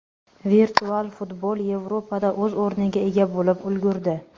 Virtual futbol Yevropada o‘z o‘rniga ega bo‘lib ulgurdi.